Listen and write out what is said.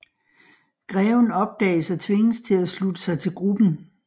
Greven opdages og tvinges til at slutte sig til gruppen